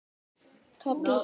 KAFLI TVÖ